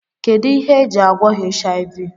Kedu ihe e ji agwọ HIV?